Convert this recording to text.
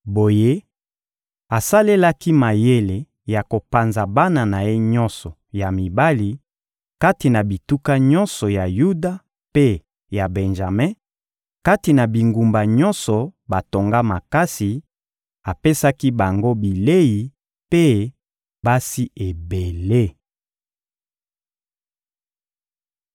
Boye, asalelaki mayele ya kopanza bana na ye nyonso ya mibali kati na bituka nyonso ya Yuda mpe ya Benjame, kati na bingumba nyonso batonga makasi; apesaki bango bilei mpe basi ebele.